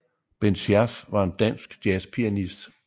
Bent Schærff var en dansk jazzpianist